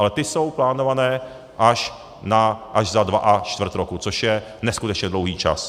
Ale ty jsou plánované až za dva a čtvrt roku, což je neskutečně dlouhý čas.